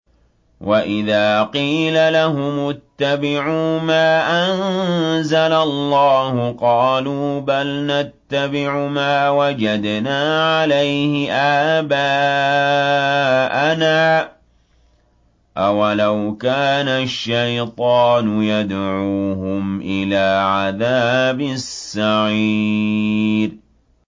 وَإِذَا قِيلَ لَهُمُ اتَّبِعُوا مَا أَنزَلَ اللَّهُ قَالُوا بَلْ نَتَّبِعُ مَا وَجَدْنَا عَلَيْهِ آبَاءَنَا ۚ أَوَلَوْ كَانَ الشَّيْطَانُ يَدْعُوهُمْ إِلَىٰ عَذَابِ السَّعِيرِ